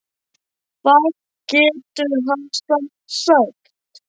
Hvað getur hann samt sagt?